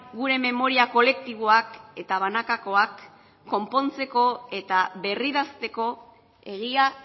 gure memoria kolektiboak eta banakakoak konpontzeko eta berridazteko egia